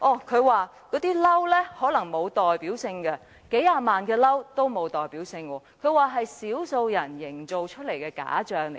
他說那些"嬲"可能沒有代表性，把數十萬個"嬲"說成是少數人營造出來的假象。